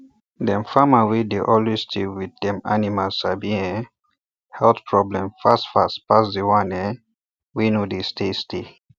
dem farmer wey dey always stay with dem animal dey sabi um health problem fast fast pass the one um wey no dey stay stay